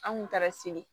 An kun taara se